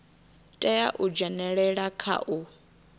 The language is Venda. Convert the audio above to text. tea u dzhenelela kha u